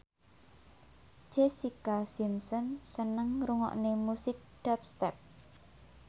Jessica Simpson seneng ngrungokne musik dubstep